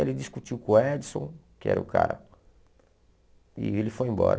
Ele discutiu com o Edson, que era o cara, e ele foi embora.